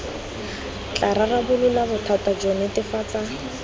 tla rarabolola bothata jo netefatsa